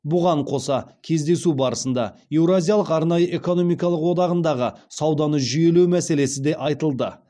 бұған қоса кездесу барысында еуразиялық арнайы экономикалық одағындағы сауданы жүйелеу мәселесі де айтылды